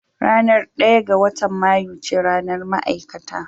Ranar ɗaya ga watan Mayu ce ranar ma'aikata